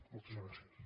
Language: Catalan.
moltes gràcies